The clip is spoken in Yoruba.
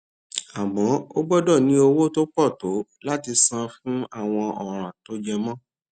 àmó o gbódò ní owó tó pò tó láti sanwó fún àwọn òràn tó jẹ mó